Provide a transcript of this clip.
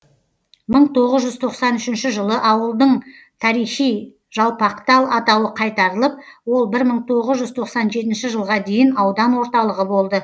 мың тоғыз жүз тоқсан үшінші жылы ауылдың тарихи жалпақтал атауы қайтарылып ол бір мың тоғыз жүз тоқсан жетінші жылға дейін аудан орталығы болды